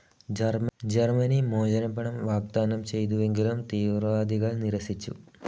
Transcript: Germany മോചനപ്പണം വാഗ്‌ദാനം ചെയ്തുവെങ്കിലും തീവ്രവാദികൾ നിരസിച്ചു.